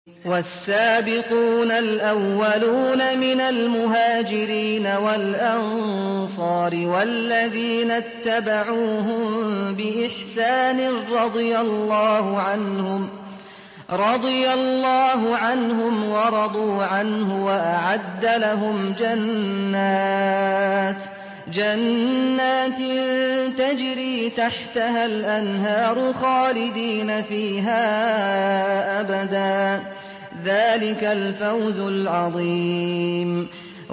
وَالسَّابِقُونَ الْأَوَّلُونَ مِنَ الْمُهَاجِرِينَ وَالْأَنصَارِ وَالَّذِينَ اتَّبَعُوهُم بِإِحْسَانٍ رَّضِيَ اللَّهُ عَنْهُمْ وَرَضُوا عَنْهُ وَأَعَدَّ لَهُمْ جَنَّاتٍ تَجْرِي تَحْتَهَا الْأَنْهَارُ خَالِدِينَ فِيهَا أَبَدًا ۚ ذَٰلِكَ الْفَوْزُ الْعَظِيمُ